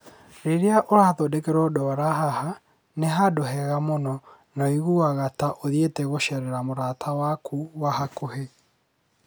Rĩrĩa ũrathondekwo ndwara haha, nĩ handũ hega mũno, na ũiguaga ta ũthiĩte gũceerera mũrata waku wa hakuhĩ.